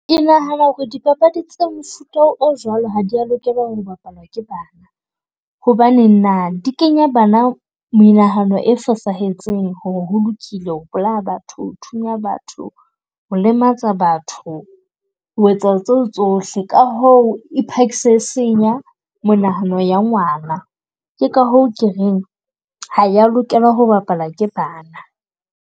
Ke nahana ho re dipapadi tsa mofuta o jwalo ha di a lokela ho bapala ke bana. Hobane na di kenya bana menahano e fosahetseng, ho re ho lokile ho bolaya batho, ho thunya batho, ho lematsa batho, ho etsa tseo tsohle. Ka hoo e phakisa e senya monahano ya ngwana. Ke ka hoo ke reng ha ya lokela ho bapalwa ke bana.